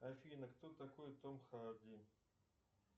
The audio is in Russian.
афина кто такой том харди